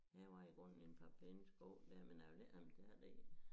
Det var i grunden en par pæne sko dér men jeg ville ikke have mine tæer deri